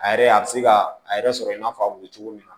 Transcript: A yɛrɛ a bɛ se ka a yɛrɛ sɔrɔ i n'a fɔ a bɛ cogo min na